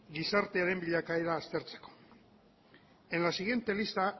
gizartearen bilakaera aztertzeko en la siguiente lista